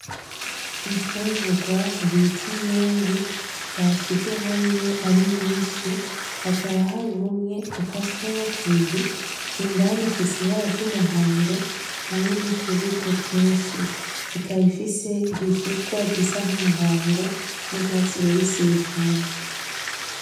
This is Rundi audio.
Imfungurwa bita imyungu, bashize hamwe ari myinshi hakaba hari umwe ukaswemwo kubiri. Indani ufise ibara ry'umuhondo hamwe nutubuto twinshi. Ikaba ifise igishishwa gisa nk'umuhondo nurwatsi rubisi bivanze.